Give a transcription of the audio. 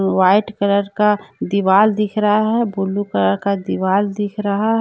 White colour का दीवाल दिख रहा है ब्लू कलर का दीवाल दिख रहा है।